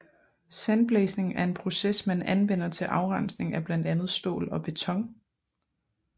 Sandblæsning er en proces man anvender til afrensning af blandt andet stål og beton